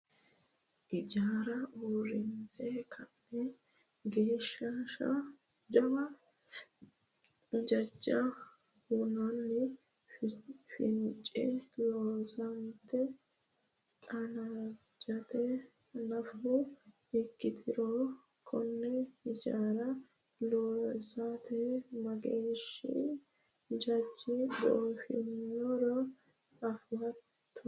ijaara uurinse ka'na geeshsha jawa jajja hunne fincine loonsanniti qaangannita nafu ikkiturono, konne hijaara loosate mageeshshi jajji goofinoro afatto ?